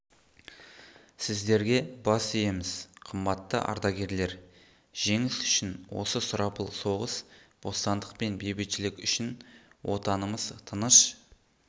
сіздерге бас иеміз қымбатты ардагерлер жеңіс үшін осы сұрапыл соғыс бостандық пен бейбітшілік үшін отанымыз тыныш